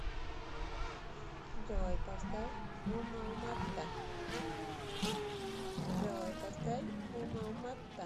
джой поставь умауматта